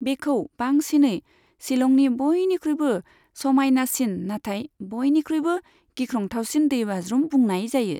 बेखौ बांसिनै शिलंनि बयनिख्रुइबो समायनासिन नाथाय बयनिख्रुइबो गिख्रंथावसिन दैबाज्रुम बुंनाय जायो।